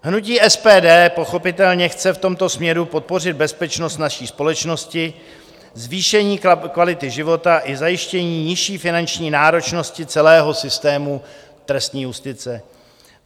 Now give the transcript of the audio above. Hnutí SPD pochopitelně chce v tomto směru podpořit bezpečnost naší společnosti, zvýšení kvality života i zajištění nižší finanční náročnosti celého systému trestní justice.